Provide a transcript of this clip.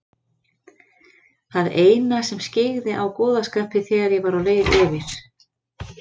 Það eina sem skyggði á góða skapið þegar ég var á leið yfir